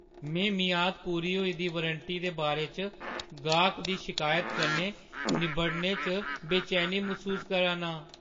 में मियाद पूरी होई दी वारंटी दे बारे च गाह्‌कै दी शिकायता कन्नै निब्बड़ने च बेचैनी मसूस करा ना आं।